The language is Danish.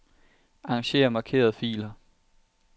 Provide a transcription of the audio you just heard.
Arranger markerede filer.